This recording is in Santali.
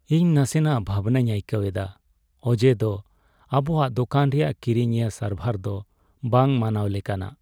ᱤᱧ ᱱᱟᱥᱮᱱᱟᱜ ᱵᱷᱟᱵᱱᱟᱧ ᱟᱹᱭᱠᱟᱹᱣ ᱮᱫᱟ ᱚᱡᱮ ᱫᱚ ᱟᱵᱚᱣᱟᱜ ᱫᱚᱠᱟᱱ ᱨᱮᱭᱟᱜ ᱠᱤᱨᱤᱧᱤᱭᱟᱹ ᱥᱟᱨᱵᱷᱟᱨ ᱫᱚ ᱵᱟᱝ ᱢᱟᱱᱟᱣ ᱞᱮᱠᱟᱱᱟᱜ ᱾